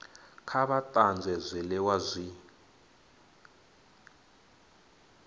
kha vha tanzwe zwiliwa zwi